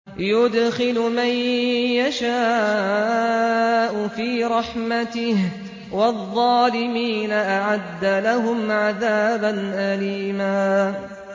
يُدْخِلُ مَن يَشَاءُ فِي رَحْمَتِهِ ۚ وَالظَّالِمِينَ أَعَدَّ لَهُمْ عَذَابًا أَلِيمًا